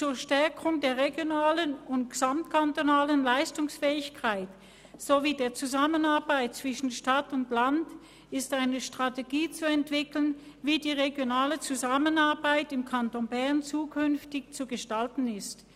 «Zur Stärkung der regionalen und gesamtkantonalen Leistungsfähigkeit sowie der Zusammenarbeit zwischen Stadt und Land ist eine Strategie zu entwickeln, wie die regionale Zusammenarbeit im Kanton Bern zukünftig zu gestalten ist.